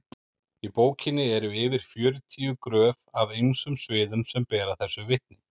í bókinni eru yfir fjörutíu gröf af ýmsum sviðum sem bera þessu vitni